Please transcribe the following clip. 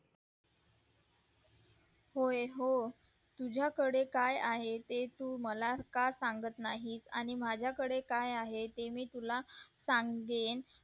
हो तुझ्याकडे काय आहे ते तू मला का सांगत नाहीस आणि माझ्याकडे काय आहे ते मी तुला सांगेल